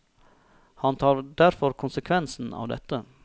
Han tar derfor konsekvensen av dette.